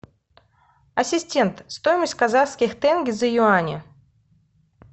ассистент стоимость казахских тенге за юани